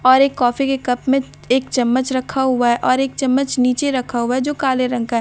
और एक कॉफी के कप में च एक चम्मच रखा हुआ है और एक चम्मच नीचे रखा हुआ है जो काले रंग का है दोनों --